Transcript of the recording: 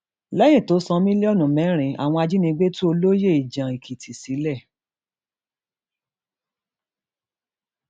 lẹyìn tó san mílíọnù mẹrin àwọn ajìnigbé tú olóyè ìjànèkìtì sílẹ